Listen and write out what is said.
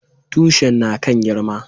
Tushin na kan girma